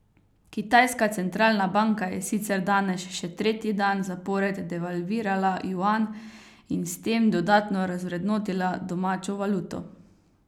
Kitajska centralna banka je sicer danes še tretji dan zapored devalvirala juan in s tem dodatno razvrednotila domačo valuto.